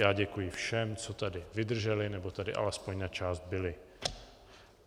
Já děkuji všem, co tady vydrželi nebo tady alespoň na část byli.